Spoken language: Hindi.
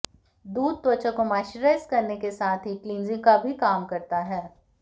दूध त्वचा को मॉइश्चराइज़ करने के साथ ही क्लिंजिंग का भी काम करता है